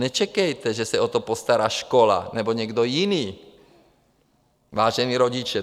Nečekejte, že se o to postará škola nebo někdo jiný, vážení rodiče.